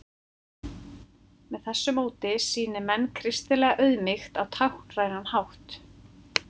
með þessu móti sýni menn kristilega auðmýkt á táknrænan hátt